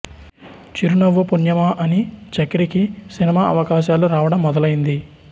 చిరునవ్వు పుణ్యమా అని చక్రికి సినిమా అవకాశాలు రావడం మొదలైంది